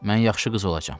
Mən yaxşı qız olacam.